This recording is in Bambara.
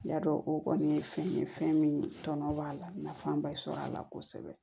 Y'a dɔn o kɔni ye fɛn ye fɛn min tɔnɔ b'a la nafan ba sɔrɔ a la kosɛbɛ